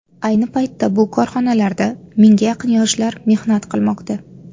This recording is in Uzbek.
Ayni paytda bu korxonalarda mingga yaqin yoshlar mehnat qilmoqda.